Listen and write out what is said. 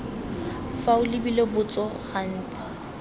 fa o lebile botso gantsi